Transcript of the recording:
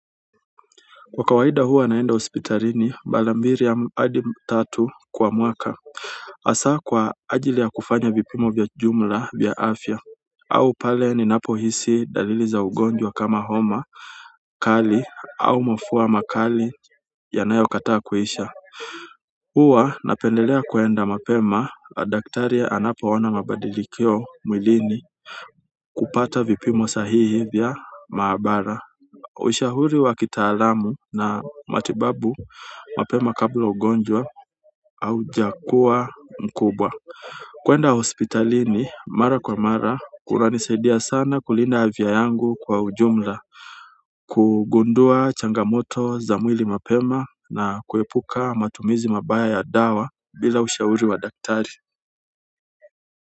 Kwa kawaida huwa naenda hospitalini mara mbili hadi tatu kwa mwaka hasa kwa ajili ya kufanya vipimo vya jumla vya afya au pale ninapohisi dalili za ugonjwa kama homa kali au mafua makali yanayokataa kuisha huwa napendelea kwenda mapema kwa daktari anapoona mabadilikio mwilini kupata vipimo sahihi vya maabara ushauri wa kitaalamu na matibabu mapema kabla ya ugonjwa au jukwaa mkubwa kuenda hospitalini mara kwa mara kunanisaidia sana kulinda afya yangu kwa ujumla kugundua changamoto za mwili mapema na kuepuka matumizi mabaya ya dawa bila ushauri wa daktari.